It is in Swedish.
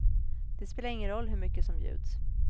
Det spelar ingen roll hur mycket som bjuds.